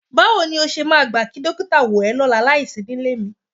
Báwo ni o ṣe máa gbà kí dókítà wò ẹ́ lọ́la láìsí nílé mi?